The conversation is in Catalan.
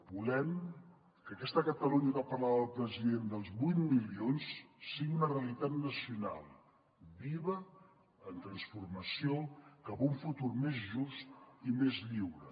volem que aquesta catalunya de què parlava el president dels vuit milions sigui una realitat nacional viva en transformació cap a un futur més just i més lliure